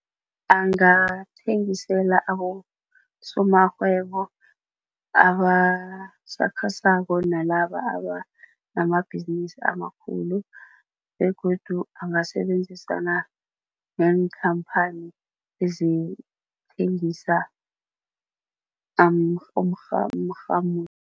Angathengisela abosomarhwebo abasakhasako nalaba abanamabhizinisi amakhulu begodu angasebenzisana neenkhamphani ezithengisa umrhamulo.